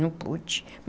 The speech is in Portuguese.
Não pude.